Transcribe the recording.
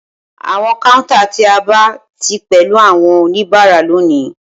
Awọn counter ti a aba ti pẹlu awọn onibara loni